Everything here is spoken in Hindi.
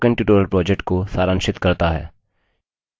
यह spoken tutorial project को सारांशित करता है